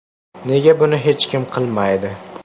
Nega buni hech kim qilmaydi?.